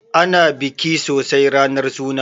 Ana biki sosai ranar suna